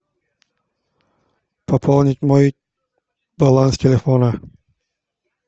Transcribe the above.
пополнить мой баланс телефона